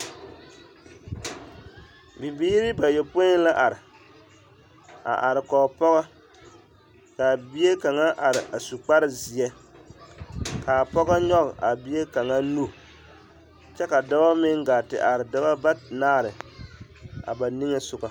Bibiiri bayɔpoi la are, a are kɔge pɔgɔ k'a bie kaŋa are a su kpare zeɛ k'a pɔgɔ nyɔge a bie kaŋa nu kyɛ ka dɔɔ meŋ gaa te are dɔbɔ banaare a ba niŋesogɔ.